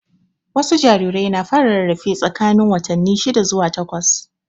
Wasu jarirai na fara rarafe tsakanin watanni shida zuwa wata takwas.